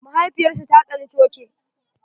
Mahaifiyar sa ta tsane coke.